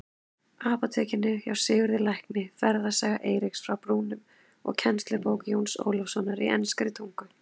Apótekinu hjá Sigurði lækni, Ferðasaga Eiríks frá Brúnum og kennslubók Jóns Ólafssonar í enskri tungu.